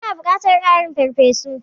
Mun buƙaci ƙarin fefofi.